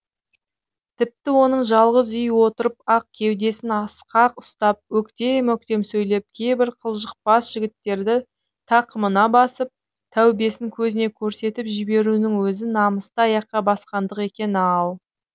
тіпті оның жалғыз үй отырып ақ кеудесін асқақ ұстап өктем өктем сөйлеп кейбір қылжақпас жігіттерді тақымына басып тәубесін көзіне көрсетіп жіберуінің өзі намысты аяққа басқандық екен ау